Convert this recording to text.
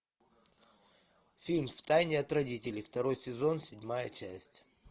фильм в тайне от родителей второй сезон седьмая часть